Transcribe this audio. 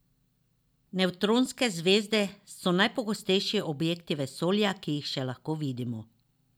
Nevtronske zvezde so najgostejši objekti vesolja, ki jih še lahko vidimo.